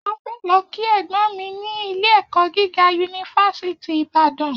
A fẹ lọ ki ẹgbọn mi ni ilé ẹkọ gíga yunifásítì Ibàdàn